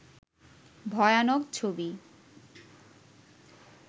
ভয়ানক ছবি